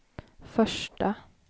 första